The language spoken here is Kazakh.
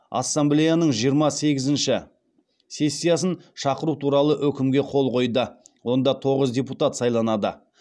ассамблеяның жиырма сегізінші сессиясын шақыру туралы өкімге қол қойды онда тоғыз депутат сайланады